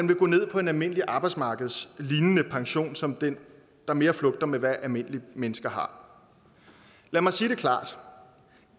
vil gå ned på en almindelig arbejdsmarkedslignende pension som den der mere flugter med hvad almindelige mennesker har lad mig sige det klart